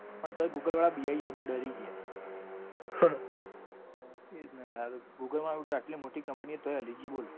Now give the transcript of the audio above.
પણ તોય google વાળા બીવીઃ ગયા બોલ ડરી ગયા. એજ ન યાર google વાળા આટલી મોટી company છે તો એ હલી ગયી બોલ. તન પણ પેલોય વસ્તુ જ એવી આપી હ ન ભાઈ બનાવીને.